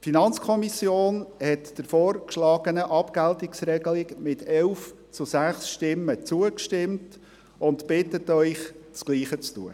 Die FiKo hat der vorgeschlagenen Abgeltungsregelung mit 11 zu 6 Stimmen zugestimmt und bittet Sie, es ihr gleich zu tun.